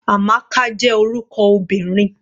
Amaka jẹ́ orúkọ obìnrin.